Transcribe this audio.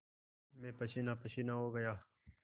मैं पसीनापसीना हो गया